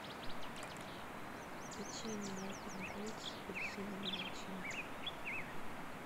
печенье альпен гольд с апельсиновой начинкой